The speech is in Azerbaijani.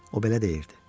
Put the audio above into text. O belə deyirdi.